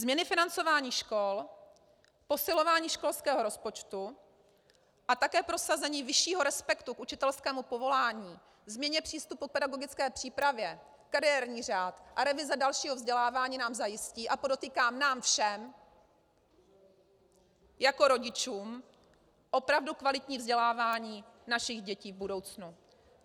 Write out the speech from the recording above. Změny financování škol, posilování školského rozpočtu a také prosazení vyššího respektu k učitelskému povolání, změna přístupu k pedagogické přípravě, kariérní řád a revize dalšího vzdělávání nám zajistí, a podotýkám nám všem jako rodičům, opravdu kvalitní vzdělávání našich dětí v budoucnu.